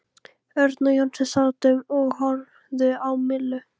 Örn og Jónsi sátu og horfðu á Millu.